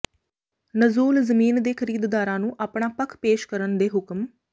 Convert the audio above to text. ਨਜ਼ੂਲ ਜ਼ਮੀਨ ਦੇ ਖਰੀਦਦਾਰਾਂ ਨੂੰ ਆਪਣਾ ਪੱਖ ਪੇਸ਼ ਕਰਨ ਦੇ ਹੁਕਮ